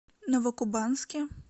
новокубанске